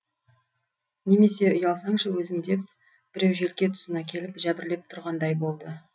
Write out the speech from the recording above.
немесе ұялсаңшы өзің деп біреу желке тұсына келіп жәбірлеп тұрғандай болды